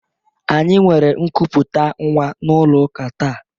Any nwere nkụpụta nwa n'ụlọ ụka taa.